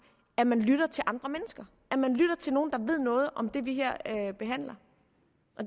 at man lytter til andre mennesker at man lytter til nogen der ved noget om det vi her behandler